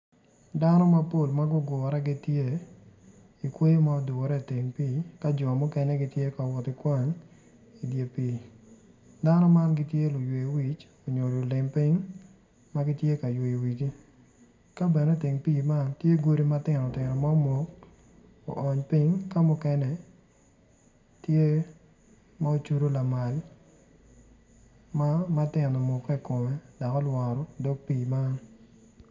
Dano mapol ma gugure gitye i kweyo ma odure i teng pii dano man gitye luywe wic nyo lulim pin ma gitye ka yweyo wigi tye godi ma tino tino ma omok oony piny ka muken tye ma ocydi lamal.